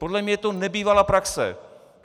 Podle mě je to nebývalá praxe.